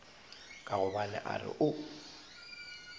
ka gobane a re o